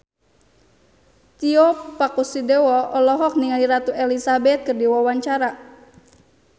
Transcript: Tio Pakusadewo olohok ningali Ratu Elizabeth keur diwawancara